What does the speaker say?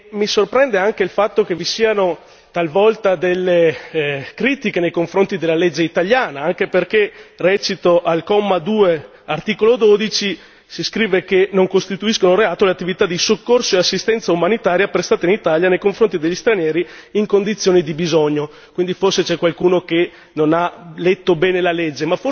Mi sorprende anche il fatto che vi siano talvolta delle critiche nei confronti della legge italiana anche perché recito al comma 2, articolo 12, si scrive che non costituiscono reato le attività di soccorso e assistenza umanitaria prestate in Italia nei confronti degli stranieri in condizioni di bisogno, forse c'è qualcuno che non ha letto bene la legge.